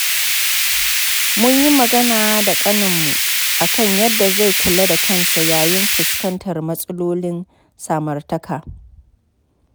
Mun yi magana da kaninmu a kan yadda zai kula da kansa yayin fuskantar matsalolin samartaka.